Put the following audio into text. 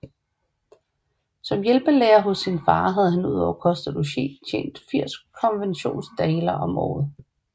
Som hjælpelærer hos sin far havde han ud over kost og logi tjent 80 konventionsdaler om året